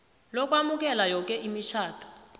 lokwamukela yoke imitjhado